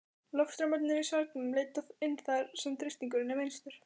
Loftstraumarnir í svelgnum leita inn þar, sem þrýstingurinn er minnstur.